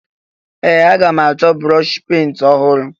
Ee! Aga m achọ brọọshị penti ọhụrụ.